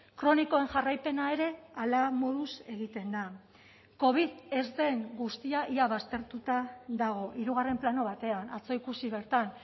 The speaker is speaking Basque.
kronikoen jarraipena ere hala moduz egiten da covid ez den guztia ia baztertuta dago hirugarren plano batean atzo ikusi bertan